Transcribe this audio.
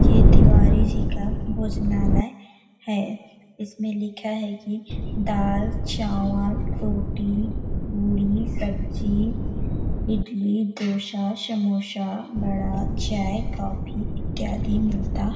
ये तिवारी जी का भोजनालय हैं इसमें लिखा हैं कि दाल- चावल रोटी पूरी- सब्जी इडली डोसा समोसा बड़ा चाय -कॉफ़ी इत्यादि मिलता--